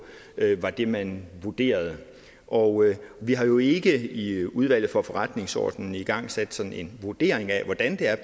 var det man vurderede og vi har jo ikke i udvalget for forretningsordenen igangsat sådan en vurdering af hvordan